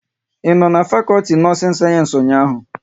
Ị no n'fakolti nọọsin sayensị ụnyaahụ?